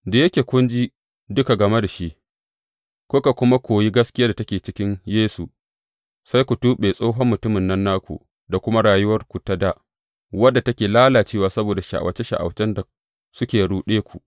Da yake kun ji duka game da shi, kuka kuma koyi gaskiyar da take cikin Yesu, sai ku tuɓe tsohon mutumin nan naku da kuma rayuwarku ta dā, wadda take lalacewa saboda sha’awace sha’awacen da suke ruɗe ku.